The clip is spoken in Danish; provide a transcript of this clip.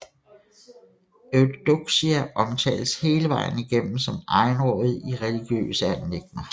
Eudoxia omtales hele vejen igennem som egenrådig i religiøse anliggender